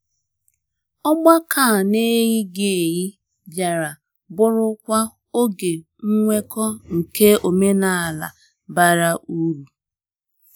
Ọgbakọ a n'eyighị eyi bịara bụrụkwa oge nnweko nke omenala bara uru.